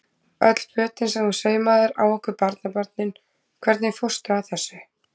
Öll fötin sem þú saumaðir á okkur barnabörnin, hvernig fórstu að þessu?